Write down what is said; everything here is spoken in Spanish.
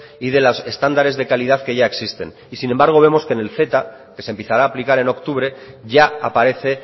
y de los estándares de calidad que ya existen y sin embargo vemos que en el ceta que se empezará a aplicar en octubre ya aparece